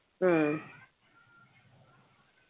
ഉം